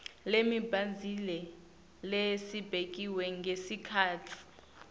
lemibandzela lebekiwe ngesikhatsi